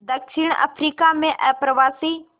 दक्षिण अफ्रीका में अप्रवासी